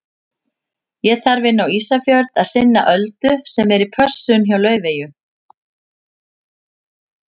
Ég þarf inn á Ísafjörð að sinna Öldu sem er í pössun hjá Laufeyju.